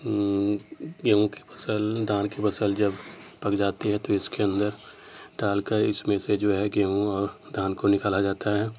हम्म गेहूं की फसल धान की फसल जब पक जाती है तो इसके अंदर डाल कर इसमें से जो है गेहूँ और धान को निकला जाता है।